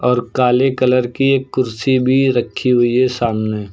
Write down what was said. और काले कलर की एक कुर्सी भी रखी हुई हैं सामने।